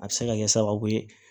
A bɛ se ka kɛ sababu ye